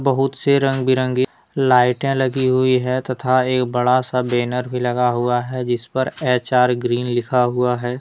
बहुत से रंग बिरंगी लाइटे लगी हुई है तथा एक बड़ा सा बैनर भी लगा हुआ हैजिस पर एच _आर ग्रीन लिखा हुआ है।